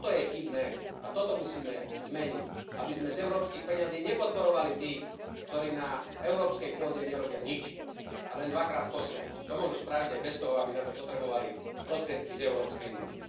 Toto je chybné a toto musíme zmeniť, aby sme z európskych peňazí nepodporovali tých, ktorí na európskej pôde nerobia nič a len dvakrát kosia. To môžu spraviť aj bez toho, aby na to potrebovali prostriedky z Európskej únie.